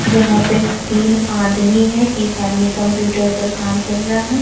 जहां पे तीन आदमी हैं। एक आदमी कंप्यूटर पर काम कर रहा है।